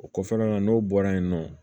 O kɔfɛla n'o bɔra yen nɔ